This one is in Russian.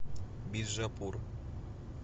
биджапур